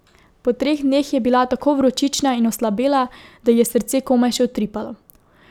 Po treh dneh je bila tako vročična in oslabela, da ji je srce komaj še utripalo.